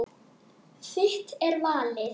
Þitt er valið.